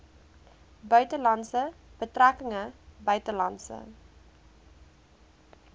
buitelandse betrekkinge buitelandse